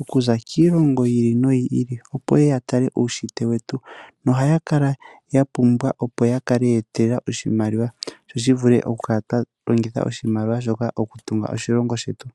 oku za kiilongo yi ili noyi ili opo yeye ya tale uunshitwe wetu nohaya kala ya pumbwa opo ya kale ya etelela oshimaliwa sho shi vule oku kala sha longithwa oshimaliwa shika oku tunga oshilongo shetu.